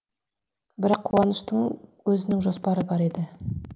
бірақ қуаныштың өзінің жоспары бар еді